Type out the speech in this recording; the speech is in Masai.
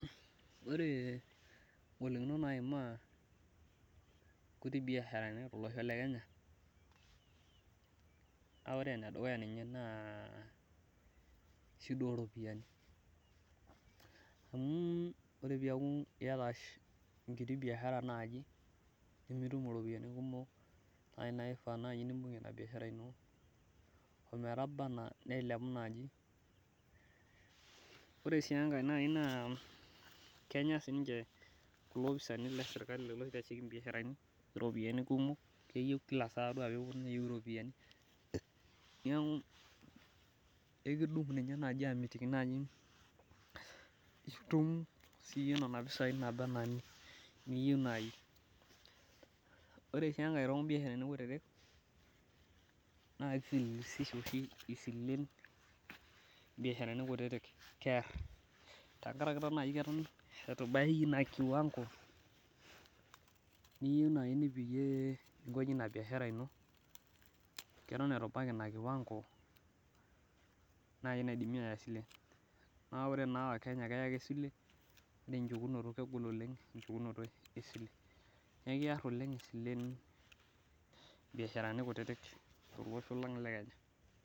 Ore ingolikinot naimaa inkuti biasharani tolosho le Kenya, naa ore enedukuya ninye naa shida oo ropiyiani amu ore piaku iyata enkiti biashara naaji nimitum iropiyiani kumok naaji naai naifaa naai nimbung'ie ina biashara ino ometaba enaa nilepu naaji. Ore sii enkae naa kenya siininche kulo opisaani le sirkali lelo oitashiki imbiasharani iropiyiani kumok, keyieu kila saa ore peyie epwonu neyieu iropiyiani. Neeku aikudup ninye aamitiki naaji itum siiyie nena pisai naaba enaa iniyieu naai. Ore sij enkae too mbiasharani kutiti naa kifilisisha oshi isilen imbiasharani kutiti, keerr tenkaraki taa naai eton etubaya ina kiwango niyieu naai nipikie ninkoji ina biashara ino, keton etu ibaiki ina kiwango naai naidimi aaya isilen. Naa ore wakenya keya ake isilen ore enchukunoto kegol oleng enchukunoto e sile. Neeku eerr oleng isilen imbiasharani kutiti tolosho lang le Kenya